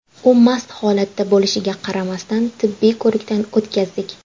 U mast holatda bo‘lishiga qaramasdan, tibbiy ko‘rikdan o‘tkazdik.